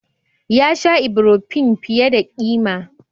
Ya sha Ibrofen fiye da ƙima.